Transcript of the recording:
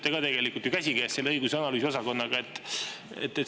Teie ju töötate ka käsikäes õigus‑ ja analüüsiosakonnaga.